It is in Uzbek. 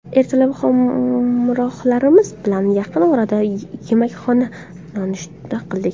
Ertalab hamrohlarimiz bilan yaqin oradagi yemakxonada nonushta qildik.